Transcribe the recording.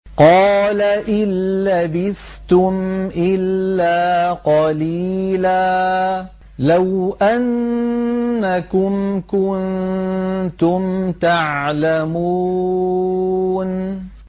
قَالَ إِن لَّبِثْتُمْ إِلَّا قَلِيلًا ۖ لَّوْ أَنَّكُمْ كُنتُمْ تَعْلَمُونَ